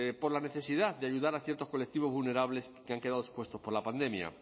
por la necesidad de ayudar a ciertos colectivos vulnerables que han quedado expuestos por la pandemia